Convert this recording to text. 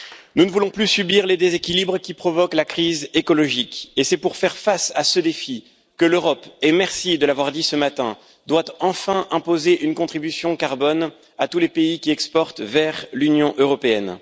Nous ne voulons plus subir les déséquilibres qui provoquent la crise écologique et c'est pour faire face à ce défi que l'Europe, merci de l'avoir dit ce matin, doit enfin imposer une contribution carbone à tous les pays qui exportent vers l'Union européenne.